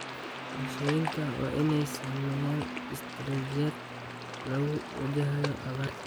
Bulshooyinka waa inay sameeyaan istaraatiijiyad lagu wajahayo abaarta.